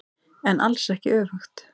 En alls ekki öfugt.